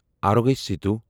Arogya Setu